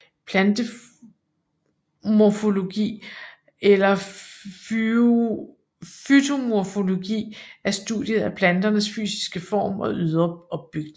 Plantemorfologi eller fytomorfologi er studiet af planternes fysiske form og ydre opbygning